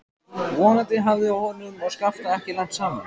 Vonandi hafði honum og Skafta ekki lent saman.